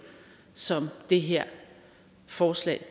som det her forslag